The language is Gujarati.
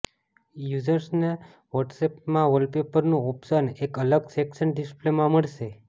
યૂઝર્સને વ્હોટ્સએપમાં વોલપેપરનું ઓપ્શન એક અલગ સેક્શન ડિસ્પ્લેમાં મળશે